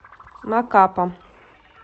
макапа